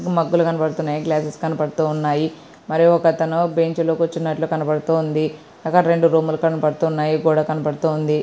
మగ్గలు కనబడుతున్నాయి గ్లాసెస్ కనబడుతున్నాయి మరి ఒక అతను బెంచ్ లో కూర్చున్నట్టు కనబడుతుంది అక్కడ రెండు రూములు కనబడుతూ ఉన్నాయి గోడ కనబడుతుంది.